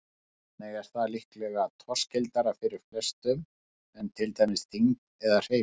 Þannig er það líklega torskildara fyrir flestum en til dæmis þyngd eða hreyfing.